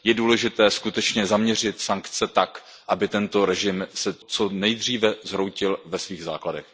Je důležité skutečně zaměřit sankce tak, aby se režim co nejdříve zhroutil ve svých základech.